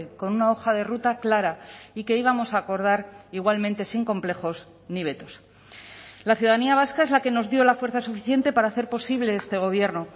con una hoja de ruta clara y que íbamos a acordar igualmente sin complejos ni vetos la ciudadanía vasca es la que nos dio la fuerza suficiente para hacer posible este gobierno